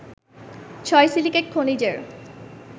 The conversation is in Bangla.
ছয় সিলিকেট খনিজের